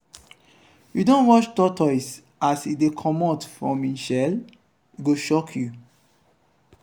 you don watch tortoise as e dey comot from im shell? e go shock you.